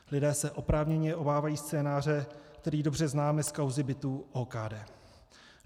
Lidé se oprávněně obávají scénáře, který dobře známe z kauzy bytů OKD.